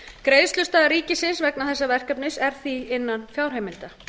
greiðslustaða ríkisins vegna þessa verkefnis er því innan fjárheimilda